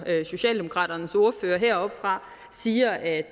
socialdemokraternes ordfører heroppefra siger at